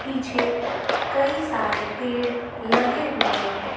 पीछे कई सारे पेड़ लगे हुए हैं।